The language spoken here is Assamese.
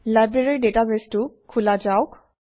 লাইব্ৰেৰী ডাটাবেছটো খোলা যাওক